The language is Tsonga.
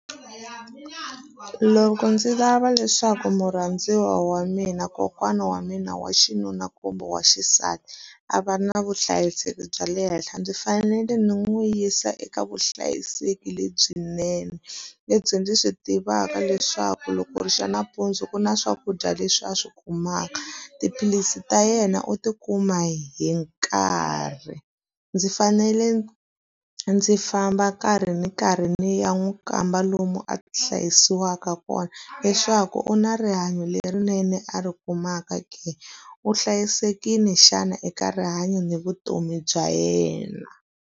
Loko ndzi lava leswaku murhandziwa wa mina, kokwana wa mina wa xinuna kumbe wa xisati, a va na vuhlayiseki bya le henhla ndzi fanele ndzi n'wi yisa eka vuhlayiseki lebyinene. Lebyi ndzi swi tivaka leswaku loko ri xa nampundzu ku na swakudya leswi a swi kumaka, tiphilisi ta yena u tikuma hi nkarhi. Ndzi fanele ndzi famba kahle ri ni karhi ni ya n'wi kamba lomu a hlayisiwaka kona, leswaku u na rihanyo lerinene a ri kumaka ke. U hlayisekile xana eka rihanyo ni vutomi bya yena.